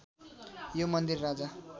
यो मन्दिर राजा